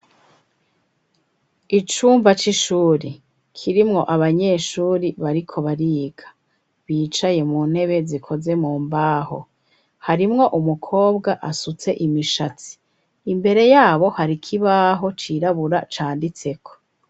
Icumba c'ishuri, kirimwo abanyeshuri bariko bariga, bicaye mu ntebe zikoze mu mbaho, harimwo umukobwa asutse imishatsi, imbere yabo hari ikibaho cirabura canditseko.